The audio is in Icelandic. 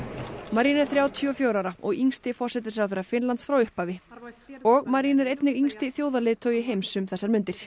marin er þrjátíu og fjögurra ára og yngsti forsætisráðherra Finnlands frá upphafi og Marin er einnig yngsti þjóðarleiðtogi heims um þessar mundir